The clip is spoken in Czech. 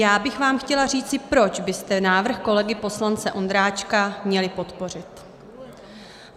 Já bych vám chtěla říci, proč byste návrh kolegy poslance Ondráčka měli podpořit.